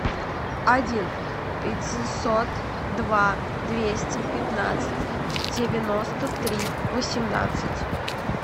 один пятьсот два двести пятнадцать девяносто три восемнадцать